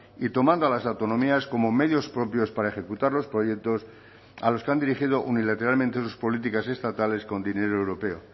y tomando a las autonomías como medios propios para ejecutar los proyectos a los que han dirigido unilateralmente sus políticas estatales con dinero europeo